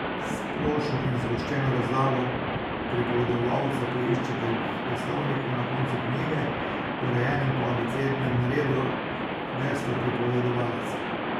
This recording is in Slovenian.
Splošno in zgoščeno razlago pripovedovalca poiščete v Geslovniku na koncu knjige, urejenem po abecednem redu, v geslu pripovedovalec.